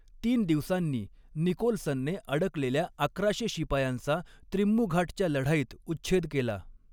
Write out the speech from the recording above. तीन दिवसांनी, निकोल्सनने अडकलेल्या अकराशे शिपायांचा त्रिम्मूघाटच्या लढाईत उच्छेद केला.